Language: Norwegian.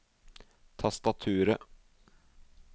tastaturet